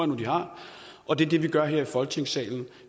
nu at de har og det er det vi gør her i folketingssalen